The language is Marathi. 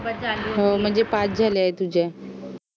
हो म्हणजे पाच झाले आहेत तुझे